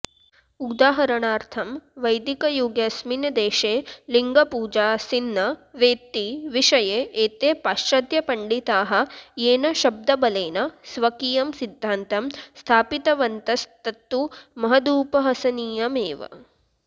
उदाहरणार्थं वैदिकयुगेऽस्मिन्देशे लिङ्गपूजाऽसीन्न वेति विषये एते पाश्चात्यपण्डिताः येन शब्दबलेन स्वकीयं सिद्धान्तं स्थापितवन्तस्तत्तु महदुपहसनीयमेव